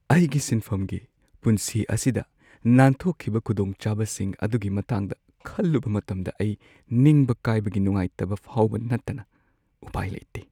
ꯑꯩꯒꯤ ꯁꯤꯟꯐꯝꯒꯤ ꯄꯨꯟꯁꯤ ꯑꯁꯤꯗ ꯅꯥꯟꯊꯣꯛꯈꯤꯕ ꯈꯨꯗꯣꯡꯆꯥꯕꯁꯤꯡ ꯑꯗꯨꯒꯤ ꯃꯇꯥꯡꯗ ꯈꯜꯂꯨꯕ ꯃꯇꯝꯗ ꯑꯩ ꯅꯤꯡꯕ ꯀꯥꯏꯕꯒꯤ ꯅꯨꯡꯉꯥꯏꯇꯕ ꯐꯥꯎꯕ ꯅꯠꯇꯅ ꯎꯄꯥꯏ ꯂꯩꯇꯦ ꯫